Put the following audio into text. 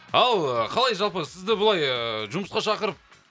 ал қалай жалпы сізді былай ыыы жұмысқа шақырып